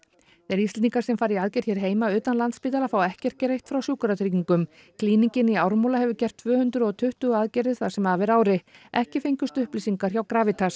þeir Íslendingar sem fara í aðgerð hér heima utan Landspítala fá ekkert greitt frá Sjúkratryggingum klínikin í Ármúla hefur gert tvö hundruð og tuttugu aðgerðir það sem af er ári ekki fengust upplýsingar hjá